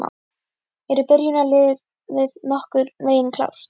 Eru byrjunarliðið nokkurn veginn klárt?